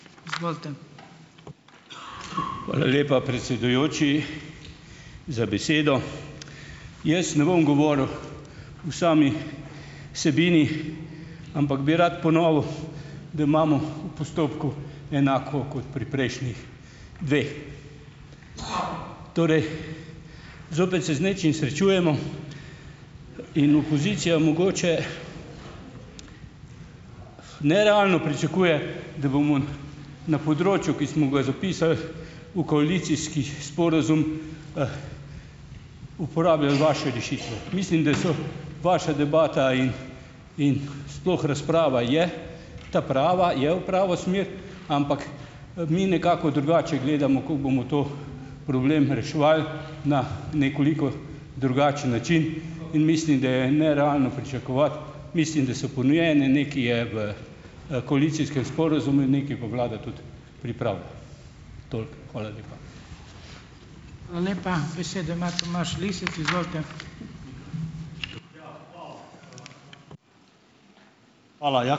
Hvala lepa, predsedujoči, za besedo. Jaz ne bom govoril o sami vsebini, ampak bi rad ponovil, da imamo v postopku enako kot pri prejšnjih dveh. Torej, zopet se z nečim srečujemo in opozicija mogoče nerealno pričakuje, da bomo na področju, ki smo ga zapisali v koalicijski sporazum, uporabljali vaše rešitve. Mislim, da so vaša debata in in sploh razprava je ta prava, je v pravo smer, ampak, mi nekako drugače gledamo, kako bomo ta problem reševali na nekoliko drugačen način. In mislim, da je nerealno pričakovati. Mislim, da so ponujene, nekaj je v, koalicijskem sporazumu, nekaj pa vlada tudi pripravlja. Toliko. Hvala lepa.